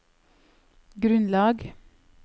grunnlag